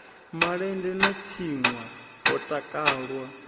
malende a tshinwa ho takalwa